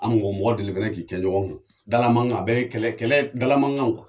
An mɔgɔ mɔgɔ delila fana k'i kɛ ɲɔgɔn kan, dala mankan, a bɛɛ ye kɛlɛ kɛlɛ dala mankan kuwa!